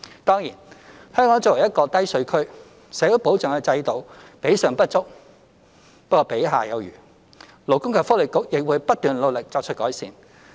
當然，香港作為一個低稅區，社會保障的制度比上不足，比下有餘，勞工及福利局亦會不斷努力作出改善。